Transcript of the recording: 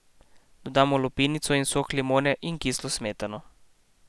Dodamo lupinico in sok limone in kislo smetano.